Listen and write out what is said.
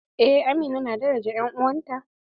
Eh amina na daraja en'uwanta.